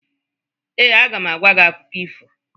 Ee, a ga m agwa gị akụkọ ifo